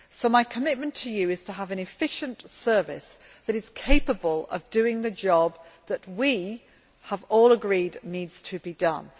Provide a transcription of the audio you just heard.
My commitment to you is to have an efficient service that is capable of doing the job that we have all agreed needs to be done.